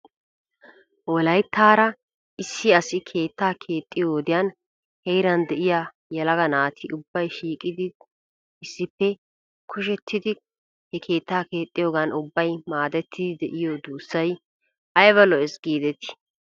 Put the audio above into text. Wolayttaara issi asi keettaa keexxiyoo wodiyan heeran de'iyaa yelaga naati ubbay shiiqettidinne issippe kushettidi he keetta keexxiyoogan ubbay maadettidi de'iyoo duussay ayba lo'es giidetii?